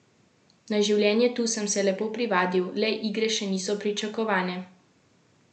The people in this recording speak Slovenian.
Na življenje tu sem se lepo privadil, le igre še niso pričakovane.